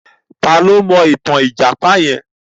Ta ni ó mọ ìtàn ìjàpá yẹn?